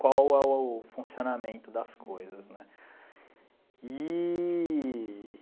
qual é o funcionamento das coisas né eee.